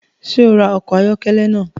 Ṣe o rá ọkọ ayọkẹlẹ naa?